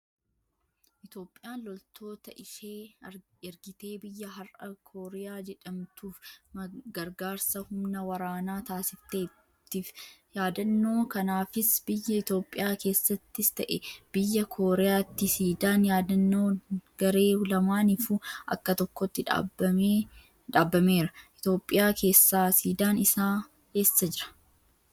Itoophiyaan loltoota ishee ergitee biyya har'a kooriyaa jedhamtuuf gargaarsa humna waraanaa taasifteettiif. Yaadannoo kanaafis biyya Itooophiyaa keessattis ta'ee biyya Kooriyaatti siidaan yaadannoo garee lamaaniifuu bakka tokkotti dhaabameera. Itoophiyaa keessaa siidaan isaa eessa jira?